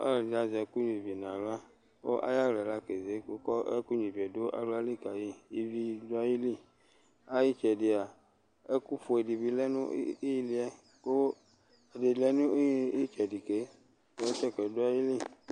Ɔlɔ ɖɩ azɛ nyua ivi nʋ aɣla: Aƴʋ aɣla ƴɛ la keze ƙʋ ɛƙʋ nƴua ivi ƴɛ ɖʋ aɣla li ƙaƴɩAƴɩtsɛɖɩ mɛ ɛƙʋ fue ɖɩ lɛ nʋ ɩhɩlɩ ƴɛ Ƙʋ ɛɖɩ bɩ lɛ nʋ ɩtsɛɖɩ